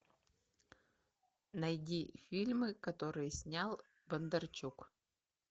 найди фильмы которые снял бондарчук